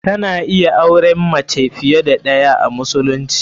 Kana iya auren fiye da mace ɗayaa musulunci.